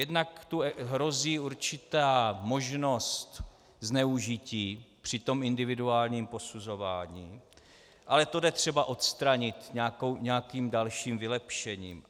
Jednak tu hrozí určitá možnost zneužití při tom individuálním posuzování, ale to jde třeba odstranit nějakým dalším vylepšením.